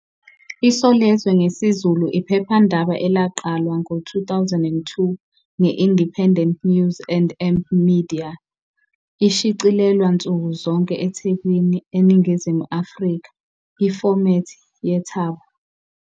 ISolezwe ngesiZulu iphephandaba elaqalwa ngo 2002 nge -Independent News and, Media. Ishicilelwa nsuku zonke eThekwini, eNingizimu Afrika, ifomethi yethabo.